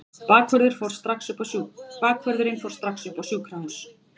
Bakvörðurinn fór strax upp á sjúkrahús.